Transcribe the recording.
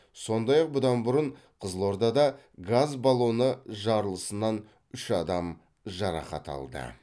сондай ақ бұдан бұрын қызылордада газ баллоны жарылысынан үш адам жарақат алды